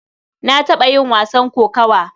Na taɓa yin wasan kokawa.